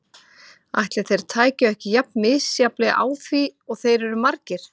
Ætli þeir tækju ekki jafn misjafnlega á því og þeir eru margir.